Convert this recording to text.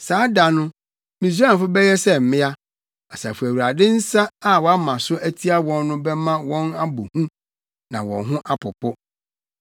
Saa da no, Misraimfo bɛyɛ sɛ mmea, Asafo Awurade nsa a wama so atia wɔn no bɛma wɔn abɔ hu na wɔn ho apopo.